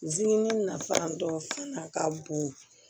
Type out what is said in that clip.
Ziini nafan dɔw fana ka bon